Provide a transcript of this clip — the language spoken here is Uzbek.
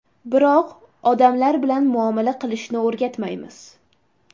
Biroq odamlar bilan muomala qilishni o‘rgatmaymiz.